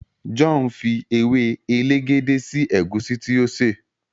John fí ewe elegede sí egusi tí o ṣe.